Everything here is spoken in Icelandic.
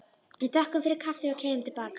Við þökkum fyrir kaffið og keyrum til baka.